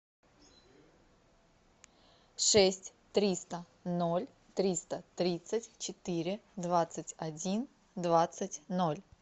шесть триста ноль триста тридцать четыре двадцать один двадцать ноль